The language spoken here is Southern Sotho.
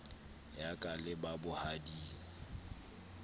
ya ka le ba bohading